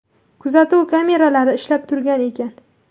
Kuzatuv kameralari ishlab turgan ekan.